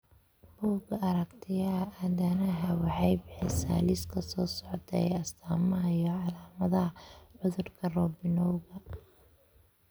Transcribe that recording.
Bugga Aaragtiyaha Aadanaha waxay bixisaa liiska soo socda ee astamaha iyo calaamadaha cudurka Robinowga .